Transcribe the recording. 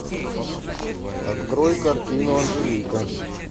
открой картину анжелика